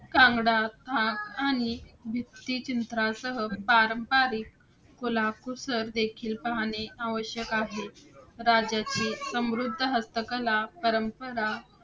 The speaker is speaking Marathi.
कांग्रा भाग, भित्तिचित्रांसह पारंपरिक कलाकुसर देखील पाहणे आवश्यक आहे. राज्याची समृद्ध हस्तकला परंपरा